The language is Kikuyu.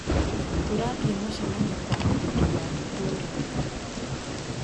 Tũrathie mũcemanio kwa mũthũri wa ĩtũra.